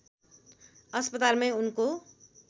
अस्पतालमै उनको